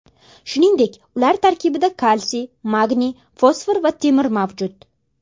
Shuningdek, ular tarkibida kalsiy, magniy, fosfor va temir mavjud.